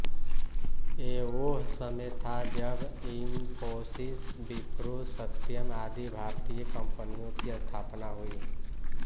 ये वोह समय था जब इंफोसिस विप्रो सत्यम आदि भारतीय कम्पनियों की स्थापना हुई